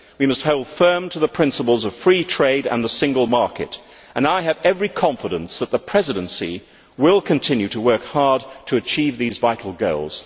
We must hold firm to the principles of free trade and the single market, and I have every confidence that the Presidency will continue to work hard to achieve these vital goals.